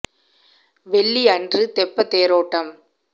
வெள்ளி அன்று தெப்பத் தேரோட்டம்